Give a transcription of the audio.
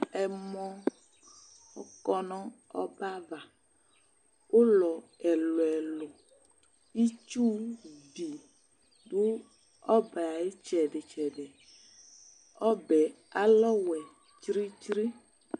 Ɛmɔ ɔkɔ nʋ ɔbɛ ava Ʋlɔ ɛlʋ-ɛlʋ Itsuvi dʋ ɔbɛ yɛ ayʋ ɩtsɛdɩ-tsɛdɩ Ɔbɛ yɛ alɛ ɔwɛ tsri-tsri